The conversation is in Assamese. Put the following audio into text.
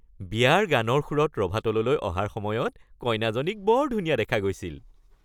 বিয়াৰ গানৰ সুৰত ৰভাতললৈ অহাৰ সময়ত কইনাজনীক বৰ ধুনীয়া দেখা গৈছিল।